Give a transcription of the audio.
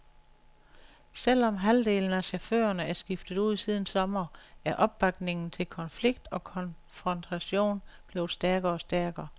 Selv om halvdelen af chaufførerne er skiftet ud siden sommer, er opbakningen til konflikt og konfrontation blevet stærkere og stærkere.